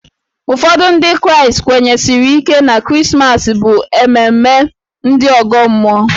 Ụfọdụ Ndị Kraịstị kwenyesiri ike na Krismas bụ ememme ndị ọgọ mmụọ.